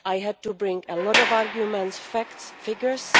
I had to bring a lot of arguments, facts, figures.